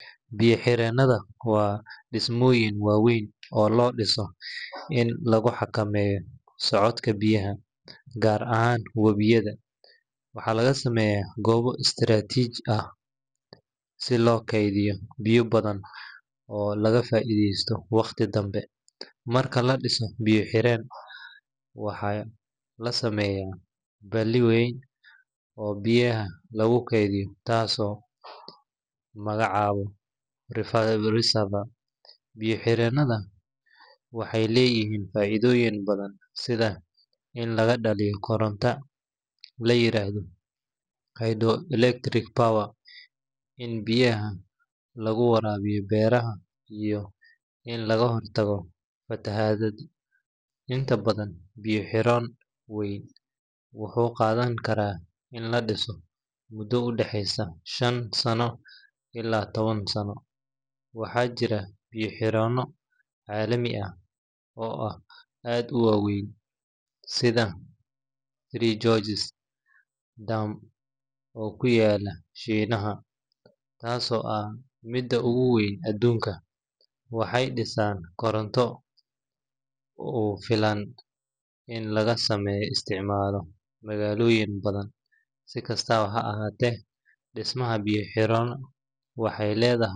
Biyo-xireennada waa dhismooyin waaweyn oo loo dhiso in lagu xakameeyo socodka biyaha, gaar ahaan wabiyada. Waxaa laga sameeyaa goobo istiraatiiji ah si loo kaydiyo biyo badan oo laga faa’iideysto wakhti dambe. Marka la dhiso biyo-xireen, waxaa la sameeyaa balli weyn oo biyaha lagu kaydiyo, taasoo lagu magacaabo reservoir. Biyo-xireennada waxay leeyihiin faa’iidooyin badan, sida in laga dhaliyo koronto la yiraahdo hydroelectric power, in biyaha lagu waraabiyo beeraha, iyo in laga hortago fatahaadaha. Inta badan, biyo-xireen weyn wuxuu qaadan karaa in la dhiso muddo u dhexeysa shan sano ilaa toban sano. Waxaa jira biyo-xireenno caalami ah oo aad u waaweyn sida Three Gorges Dam oo ku yaalla Shiinaha, taasoo ah midda ugu weyn adduunka. Waxay bixisaa koronto ku filan in lagu isticmaalo magaalooyin badan. Si kastaba ha ahaatee, dhismaha biyo-xireennada wuxuu leeyahay.